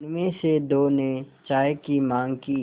उनमें से दो ने चाय की माँग की